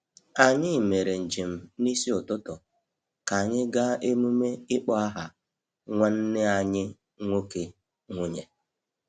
Anyị mere njem n’isi ụtụtụ ka anyị gaa emume ịkpọ aha nwanne anyị nwoke/nwunye.